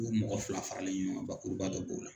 U mɔgɔ fila faralen ɲɔgɔn bakuruba dɔ b'o la.